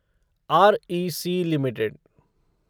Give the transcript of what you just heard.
REC limited